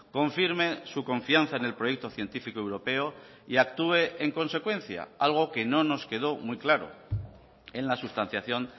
confirme su confianza en el proyecto científico europeo y actúe en consecuencia algo que no nos quedó muy claro en la sustanciación